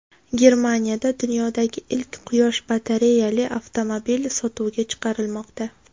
Germaniyada dunyodagi ilk quyosh batareyali avtomobil sotuvga chiqarilmoqda .